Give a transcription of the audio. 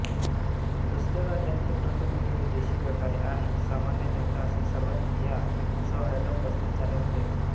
दुसऱ्या राज्यांचे प्रतिनिधी विदेशी व्यापारी आणि सामान्य जनता असे सर्वच या सोहळ्याला उपस्थित झाले होते